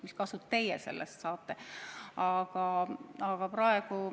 Mis kasu teie sellest saate?